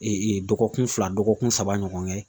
dɔgɔkun fila dɔgɔkun saba ɲɔgɔn kɛ